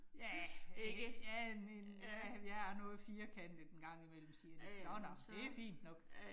Ja, ja en en, ja, jeg er noget firkantet en gang imellem siger de, nåh nåh, men det fint nok